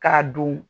K'a don